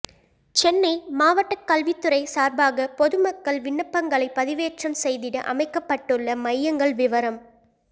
சென்னை மாவட்ட கல்வித் துறை சார்பாக பொது மக்கள் விண்ணப்பங்களை பதிவேற்றம் செய்திட அமைக்கப்பட்டுள்ள மையங்கள் விவரம்